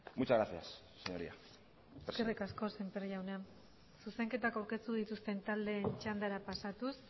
muchas gracias señorías eskerrik asko semper jauna zuzenketak aurkeztu dituzten taldeen txandara pasatuz